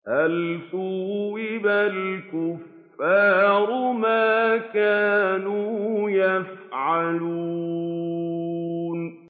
هَلْ ثُوِّبَ الْكُفَّارُ مَا كَانُوا يَفْعَلُونَ